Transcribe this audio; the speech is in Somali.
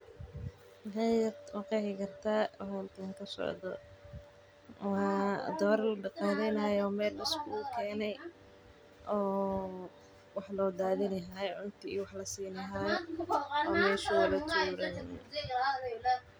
Ma qeexi kartaa waxa halkan kasocdo waa dooro la daqaleyni haayo oo cunto lasiini haayo.